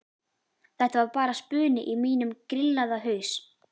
Þetta var bara spuni í mínum grillaða haus.